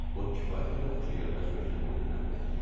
O kifayət qədər xoşagəlməz görkəmlə dilləndi.